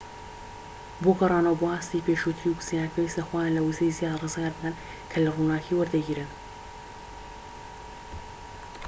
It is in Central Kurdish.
بۆ گەڕانەوە بۆ ئاستی پێشووتری ووزەیان پێویستە خۆیان لە ووزەی زیادە ڕزگار بکەن کە لە ڕووناكی وەریدەگرن